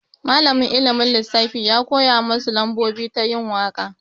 Malamin ilimin lissafi ya koya masu lambobi ta yin waka.